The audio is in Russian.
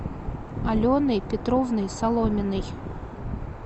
аленой петровной соломиной